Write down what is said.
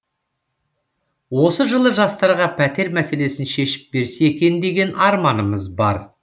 осы жылы жастарға пәтер мәселесін шешіп берсе екен деген арманымыз бар